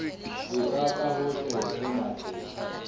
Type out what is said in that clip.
etsa ka hohle ho matleng